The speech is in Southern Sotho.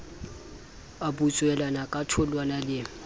a butswelana ka tholwana le